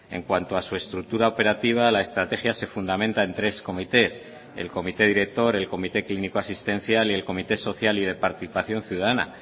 en cuanto a su estructura operativa la estrategia se fundamenta en tres comités el comité director el comité clínico asistencial y el comité social y de participación ciudadana